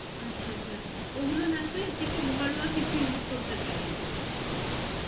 আচ্ছা আচ্ছা ওগুলো না করে একটু ঘরোয়া কিছু use করতে পারেন,